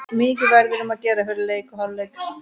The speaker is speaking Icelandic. Mikið verður um að gera fyrir leik og í hálfleik.